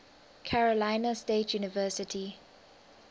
carolina state university